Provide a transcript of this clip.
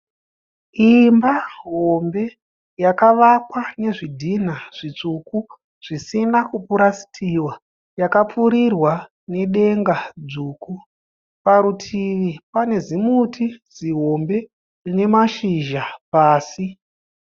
Imba hombe yakavakwa nezvidhinha zvitsvuku zvisina kupurasitiwa. Yakapfurirwa nedenga dzvuku. Parutivi pane zimuti zihombe rine mashizha pasi.